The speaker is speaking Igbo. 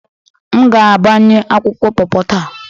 M ga-agbanye akwụkwọ paw paw taa